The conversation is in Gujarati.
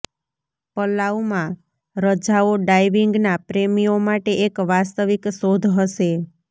પલાઉ માં રજાઓ ડાઇવિંગ ના પ્રેમીઓ માટે એક વાસ્તવિક શોધ હશે